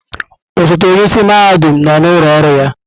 Osote onye isi mahadum nọ n'ụlọ ọrụ ya.